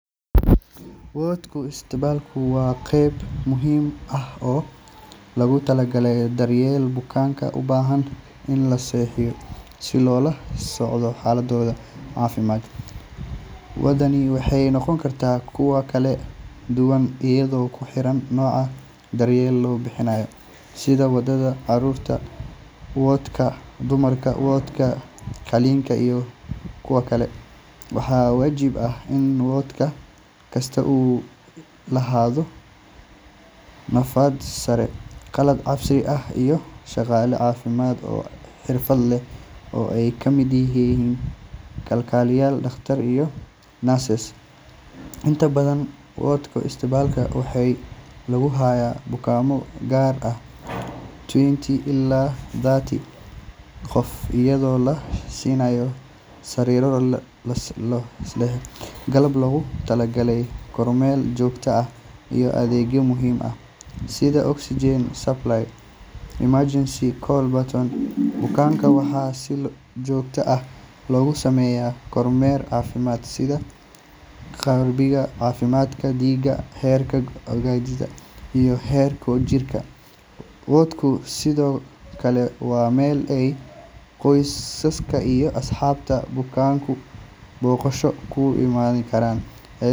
Waadhka isbitaalku waa qayb muhiim ah oo loogu talagalay daryeelka bukaannada u baahan in la seexiyo si loola socdo xaaladooda caafimaad. Waadhadani waxay noqon karaan kuwo kala duwan iyadoo ku xiran nooca daryeelka la bixinayo, sida waadhka carruurta, waadhka dumarka, waadhka qalliinka, iyo kuwa kale. Waxaa waajib ah in waadh kasta uu lahaado nadaafad sare, qalab casri ah, iyo shaqaale caafimaad oo xirfad leh oo ay ka mid yihiin kalkaaliyeyaal, dhaqaatiir iyo nurses. Inta badan waadhka isbitaalka waxaa lagu hayaa bukaanno gaaraya ilaa twenty ilaa thirty qof, iyadoo la siinayo sariiro raaxo leh, qalab loogu talagalay kormeerka joogtada ah, iyo adeegyo muhiim ah sida oxygen supply iyo emergency call buttons. Bukaanka waxa si joogto ah loogu sameeyaa kormeer caafimaad sida cabbiraadda cadaadiska dhiigga, heerka ogsajiinta, iyo heerkulka jirka. Waadhku sidoo kale waa meel ay qoysaska iyo asxaabta bukaanku booqasho ku iman karaan.